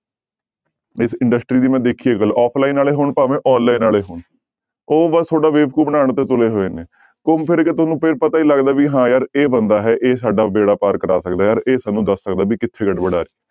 ਇਸ industry ਦੀ ਮੈਂ ਦੇਖੀ ਹੈ ਗੱਲ offline ਹੋਣ ਭਾਵੇਂ online ਵਾਲੇ ਹੋਣ, ਉਹ ਬਸ ਤੁਹਾਡਾ ਬੇਵਕੂਫ਼ ਬਣਾਉਣ ਤੇ ਤੁਲੇ ਹੋਏ ਨੇ, ਘੁੰਮ ਫਿਰ ਕੇ ਤੁਹਾਨੂੰ ਫਿਰ ਪਤਾ ਹੀ ਲੱਗਦਾ ਵੀ ਹਾਂ ਯਾਰ ਇਹ ਬੰਦਾ ਹੈ ਇਹ ਸਾਡਾ ਬੇੜਾ ਪਾਰ ਕਰਾ ਸਕਦਾ ਯਾਰ, ਇਹ ਸਾਨੂੰ ਦੱਸ ਸਕਦਾ ਵੀ ਕਿੱਥੇ ਗੜਬੜ ਹੈ।